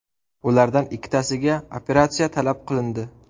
Ulardan ikkitasiga operatsiya talab qilindi.